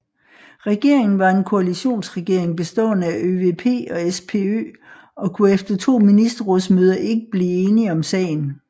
Regeringen var en koalitionsregering bestående af ÖVP og SPÖ og kunne efter to ministerrådsmøder ikke blive enige om sagen